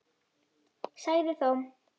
Sagði þó